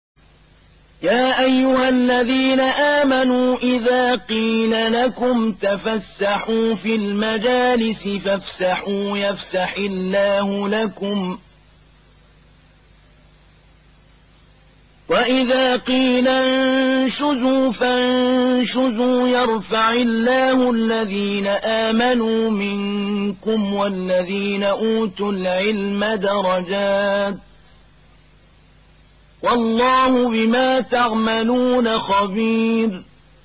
يَا أَيُّهَا الَّذِينَ آمَنُوا إِذَا قِيلَ لَكُمْ تَفَسَّحُوا فِي الْمَجَالِسِ فَافْسَحُوا يَفْسَحِ اللَّهُ لَكُمْ ۖ وَإِذَا قِيلَ انشُزُوا فَانشُزُوا يَرْفَعِ اللَّهُ الَّذِينَ آمَنُوا مِنكُمْ وَالَّذِينَ أُوتُوا الْعِلْمَ دَرَجَاتٍ ۚ وَاللَّهُ بِمَا تَعْمَلُونَ خَبِيرٌ